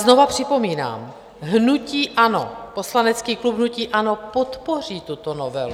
Znova připomínám: hnutí ANO, poslanecký klub hnutí ANO, podpoří tuto novelu.